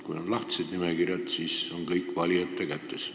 Kui on lahtised nimekirjad, siis on kõik valijate kätes.